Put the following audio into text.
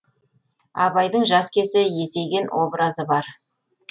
абайдың жас кезі есейген образы бар